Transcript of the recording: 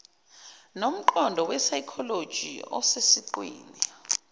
nomqondo wesayikholoji osesiqwini